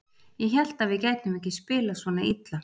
Ég hélt að við gætum ekki spilað svona illa.